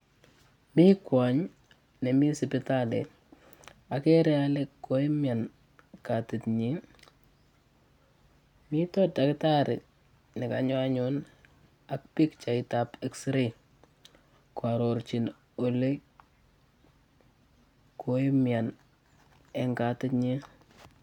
Mii kwony nemii sipitali okere ole koumyan kati nyin, miten dactari nekonyo anyun ak pichait ab xray kwororchi ole koyumyan en katit nyin.